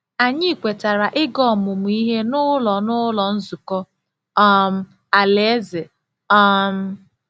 Anyị kwetara ịga ọmụmụ ihe n’Ụlọ n’Ụlọ Nzukọ um Alaeze. um